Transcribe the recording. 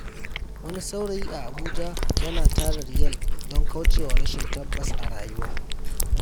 Wani saurayi a Abuja yana tara Riyal don kauce wa rashin tabbas a rayuwa.